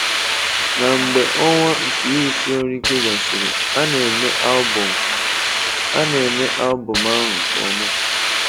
Na mgbe ọnwa nke ịrụsi ọrụ ike gasịrị, a na-eme album a na-eme album ahụ nke ọma.